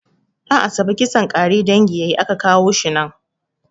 Ɗan'asabe kisan ƙare dangi yayi a ka kawo shi nan